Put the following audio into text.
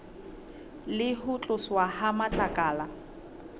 le ho tloswa ha matlakala